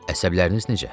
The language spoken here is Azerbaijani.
Əsəbləriniz necə?